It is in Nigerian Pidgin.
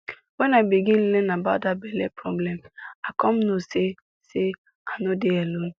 when i begin learn about that belle problem i come know say say i no dey alone